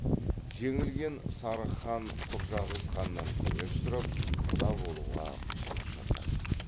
жеңілген сарығ хан құрджақыз ханнан көмек сұрап құда болуға ұсыныс жасайды